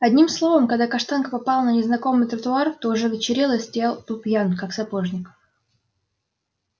одним словом когда каштанка попала на незнакомый тротуар то уже вечерело и столяр был пьян как сапожник